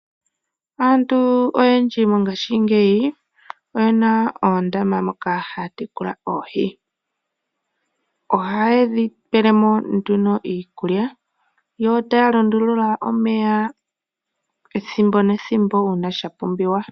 Aantu oyendji mongashingeyi oye na oondama moka haya tekula oohi. Ohaye dhi pele mo nduno iikulya yo taya lundulula omeya ethimbo nethimbo uuna sha pumbiwa.